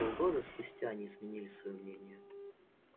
полгода спустя они изменили своё мнение